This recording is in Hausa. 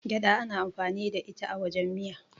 gyada ana amfani da ita wajen miya